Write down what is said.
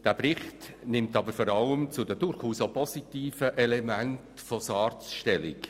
Dieser Bericht nimmt aber vor allem zu den positiven Elementen der SARZ Stellung.